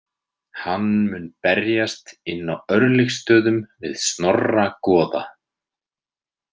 Hann mun berjast inn á Örlygsstöðum við Snorra goða.